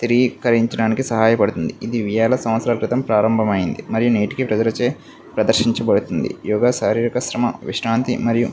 కరించాడానికి సహాయపడుతుంది ఇది వేల సంవత్సరాల క్రితం ప్రారంభం అయింది మరియు నేటికీ ప్రజలచే ప్రదర్శించబడుతుంది యోగా శారీరిక శ్రమ విశ్రాంతి మరియు --